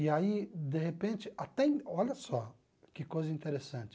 E aí, de repente, até... Olha só que coisa interessante.